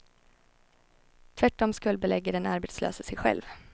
Tvärtom skuldbelägger den arbetslöse sig själv.